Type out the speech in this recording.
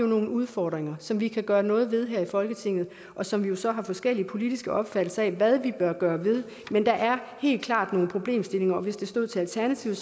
nogle udfordringer som vi kan gøre noget ved her i folketinget og som vi så har forskellige politiske opfattelser af hvad vi bør gøre ved der er helt klart nogle problemstillinger og hvis det stod til alternativet